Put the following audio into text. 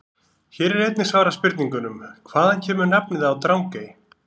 Hér er einnig svarað spurningunum: Hvaðan kemur nafnið á Drangey?